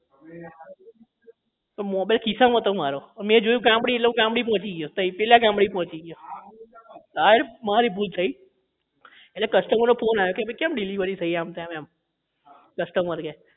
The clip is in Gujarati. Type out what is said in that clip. તો mobile ખિસ્સા માં હતો મારો મેં જોયું કે ગામડી એટલે ગામડી પહોંચી ગયો તો તઇ પેલા ગામડી પહોંચી ગયો હા એટલે મારી ભૂલ થઇ એટલે customer નો phone આયો કે કેમ આમ delivery થઇ આમ તેમ customer કે